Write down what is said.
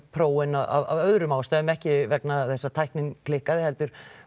prófin af öðrum ástæðum ekki vegna þess að tæknin klikkaði heldur